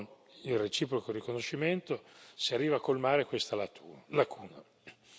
Con il reciproco riconoscimento si arriva a colmare questa lacuna.